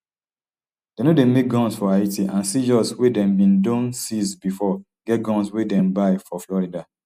dem no dey make guns for haiti and seizures wey dem bin don seize bifor get guns wey dem buy for florida